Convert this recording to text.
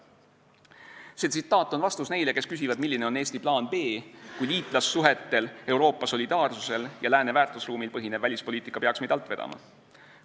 " See tsitaat on vastus neile, kes küsivad, milline on Eesti plaan B, kui liitlassuhetel, Euroopa solidaarsusel ja lääne väärtusruumil põhinev välispoliitika peaks meid alt vedama.